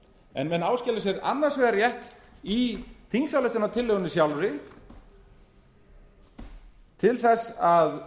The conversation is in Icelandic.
en menn áskilja sér annars vegar rétt í þingsályktunartillögunni sjálfri til að